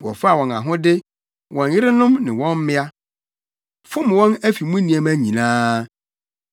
Wɔfaa wɔn ahode, wɔn yerenom ne wɔn mmea, fom wɔn afi mu nneɛma nyinaa.